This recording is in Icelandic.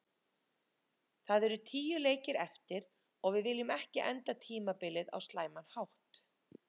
Það eru tíu leikir eftir og við viljum ekki enda tímabilið á slæman hátt.